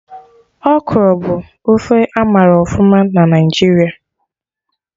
Okro bụ ofe amara ọfụma na Naijiria